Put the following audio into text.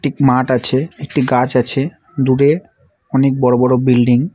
এক্ক মাঠ আছে একটি গাছ আছে দূরে অনেক বড় বড় বিল্ডিং ।